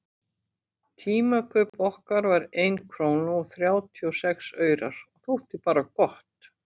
Tímakaup okkar var ein króna og þrjátíu og sex aurar og þótti bara gott.